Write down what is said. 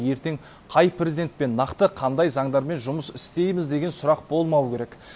ертең қай президентпен нақты қандай заңдармен жұмыс істейміз деген сұрақ болмауы керек